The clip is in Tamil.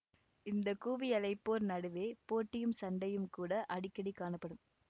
இந்த கூவியழைப்போர் நடுவே போட்டியும் சண்டையும் கூட அடிக்கடி காணப்படும்